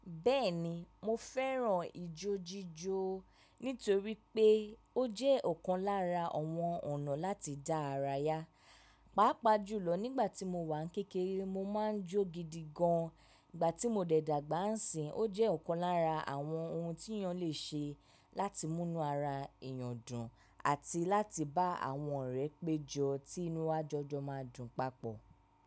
Bẹ́ẹ̀ni, mo fẹ́ràn ijójíjó nítorí pé ó jẹ́ ọ̀kan lára àwọn ọ̀nà láti dá ara ya. Pápá jùlọ nígbà tí mo wà ní kékeré mo máa ń jó gidi gan, ìgbà tí mo dẹ̀dàgbà ń sìn ó jẹ́ ọ̀kan lára àwọn ohun tí èèyàn lè ṣe láti múnú ara èèyàn dùn àti láti bá àwọn ọ̀rẹ́ péjọ tí inúwájọ jọ máa dùn papọ̀